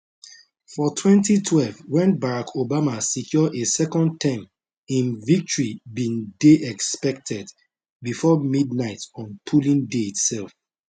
for 2012 when barack obama secure a second term im victory bin dey expected before midnight on polling day itself